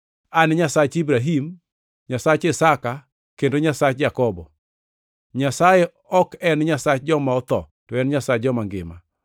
‘An Nyasach Ibrahim, Nyasach Isaka kendo Nyasach Jakobo.’ + 22:32 \+xt Wuo 3:6\+xt* Nyasaye ok en Nyasach joma otho, to en Nyasach joma ngima.”